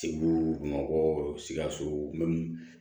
Segu bamakɔ sikaso